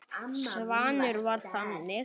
Svanur var þannig.